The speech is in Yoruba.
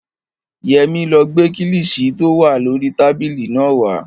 Yẹmí ló gbé kílìṣí tí ó wà lórii tábìlì náà wá